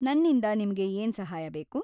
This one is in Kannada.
ನನ್ನಿಂದ ನಿಮ್ಗೆ ಏನ್ ಸಹಾಯ ಬೇಕು?